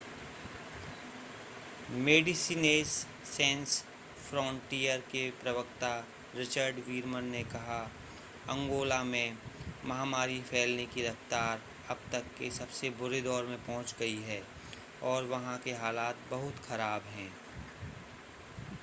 मेडिसिनेस Sans Frontieres के प्रवक्ता Richard Veerman ने कहा अंगोला में महामारी फैलने की रफ़्तार अब तक के सबसे बुरे दौर में पहुंच गई है और वहां के हालात बहुत खराब हैं